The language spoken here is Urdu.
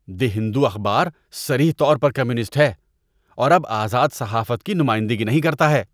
دی ہندو اخبار صریح طور پر کمیونسٹ ہے اور اب آزاد صحافت کی نمائندگی نہیں کرتا ہے